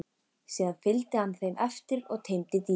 Síðan fylgdi hann þeim eftir og teymdi dýrið.